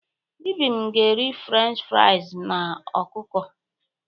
Ibim ga-eri Frenchị friz na ọkụkọ.